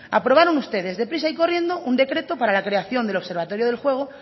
aprobaron ustedes deprisa y corriendo un decreto para la creación del observatorio del juego